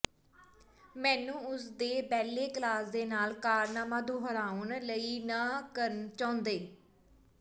ਮੈਨੂੰ ਉਸ ਦੇ ਬੈਲੇ ਕਲਾਸ ਦੇ ਨਾਲ ਕਾਰਨਾਮਾ ਦੁਹਰਾਉਣ ਲਈ ਨਹ ਕਰਨਾ ਚਾਹੁੰਦੇ